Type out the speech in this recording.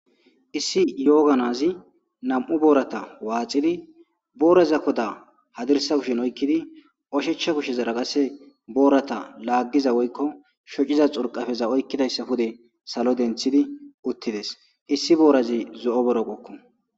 Issi yooga na'azi nam'u boorata waaxidi booraza koda hadirssa kushiyan oykidi oshicha kushazara qase boorata laagiza woyko shocciza xurqafeza oykidayssa pude salo denthidi uttides issi boorazi zo'o borokokko.